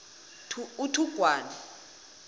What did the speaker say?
uthugwana